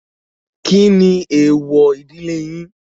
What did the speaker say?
Kí ni èwọ̀ ìdílé yín?